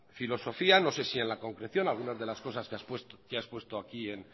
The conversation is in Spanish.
filosofía no sé si en la concreción algunas de las cosas que ha expuesto aquí en